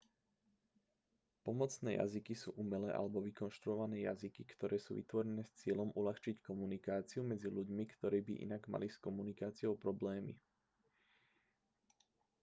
pomocné jazyky sú umelé alebo vykonštruované jazyky ktoré sú vytvorené s cieľom uľahčiť komunikáciu medzi ľuďmi ktorí by inak mali s komunikáciou problémy